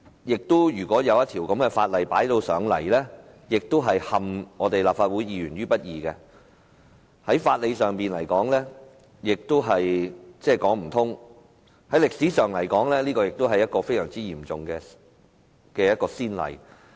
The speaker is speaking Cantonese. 而且，把這樣的法案提交立法會，是陷立法會議員於不義，在法理上亦說不通，而在歷史上而言，這亦是一個非常嚴重的先例。